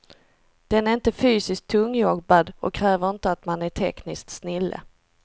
Den är inte fysiskt tungjobbad och kräver inte att man är tekniskt snille.